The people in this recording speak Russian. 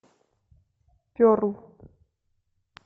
перл